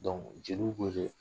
Don jeliw wele .